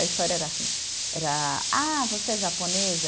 A história era assim, era, ah, você é japonesa?